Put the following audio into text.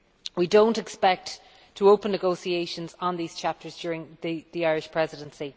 We do not expect to open negotiations on these chapters during the Irish Presidency.